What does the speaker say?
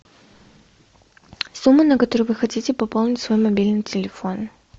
сумма на которую вы хотите пополнить свой мобильный телефон